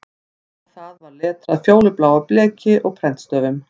Á það var letrað fjólubláu bleki og prentstöfum